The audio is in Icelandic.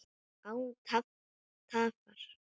Án tafar!